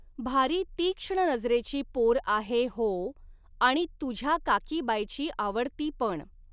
भारी तीक्ष्ण नजरेची पोर आहे होऽऽऽ आणि तुझ्या काकीबायची आवडती पण.